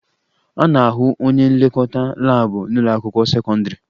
A na-ahụ onye nlekọta laabụ n'ụlọakwụkwọ sekọndịrị